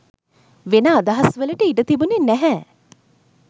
වෙන අදහස් වලට ඉඩ තිබුනේ නැහැ.